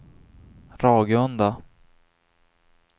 Ragunda